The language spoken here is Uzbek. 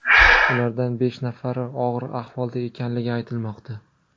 Ulardan besh nafari og‘ir ahvolda ekanligi aytilmoqda.